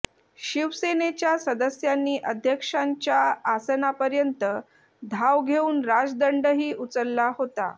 शिवसेनेच्या सदस्यांनी अध्यक्षांच्या आसनापर्यंत धाव घेऊन राजदंडही उचलला होता